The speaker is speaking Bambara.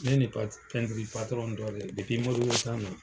Ne ni pɛtiri patɔrɔn dɔ de ye Modibo na.